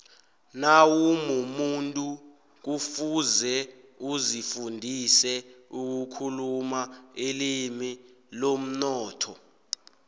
nawumumuntu kufuze uzifundise ukukhuluma ilimi lomnotho